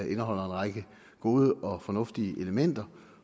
en række gode og fornuftige elementer